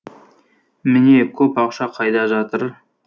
міне көп ақша қайда жатыр